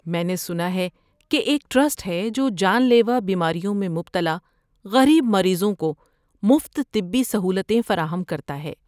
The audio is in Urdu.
میں نے سنا ہے کہ ایک ٹرسٹ ہے جو جان لیوا بیماریوں میں مبتلا غریب مریضوں کو مفت طبی سہولتیں فراہم کرتا ہے۔